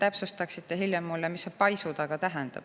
Äkki täpsustate hiljem mulle, mis see "paisu taga" tähendab?